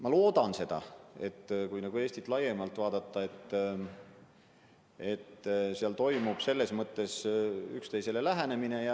Ma loodan seda, et kui Eestit laiemalt vaadata, siis toimub üksteisele lähenemine.